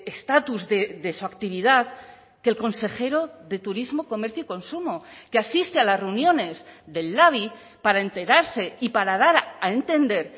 estatus de su actividad que el consejero de turismo comercio y consumo que asiste a las reuniones del labi para enterarse y para dar a entender